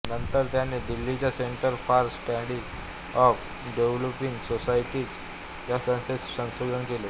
नंतर त्यांनी दिल्लीच्या centre for study of developing societies या संस्थेत संशोधन केले